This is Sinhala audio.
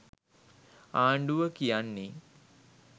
ආණ්ඩුව කියන්නේ